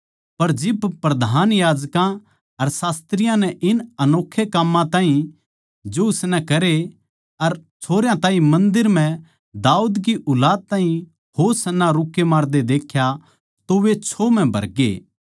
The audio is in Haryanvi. पर जिब प्रधान याजकां अर शास्त्रियाँ नै इन अनोक्खे काम्मां ताहीं जो उसनै करे अर छोरयां ताहीं मन्दर म्ह दाऊद की ऊलाद को होशाना रूक्के मारदे देख्या तो वे छो मानगे